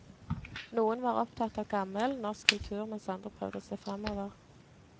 Noen var opptatt av gammel, norsk kultur, mens andre prøvde å se fremover.